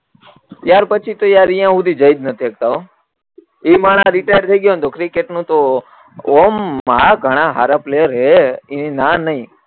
ત્યાર પછી યારયા આવું ઈ હુધી જોઈ નથી અત્યાર હો એ માણહ રીટાયર થઇ ગયા ને તો ક્રિકેટ નું તો એમ હા ઘણા હાર પ્લેયર હે ઈ નાં નઈ